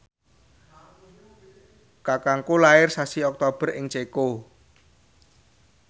kakangku lair sasi Oktober ing Ceko